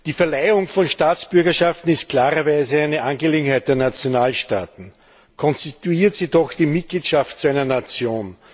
Die Verleihung von Staatsbürgerschaften ist klarerweise eine Angelegenheit der Nationalstaaten, konstituiert sie doch die Mitgliedschaft in einer Nation.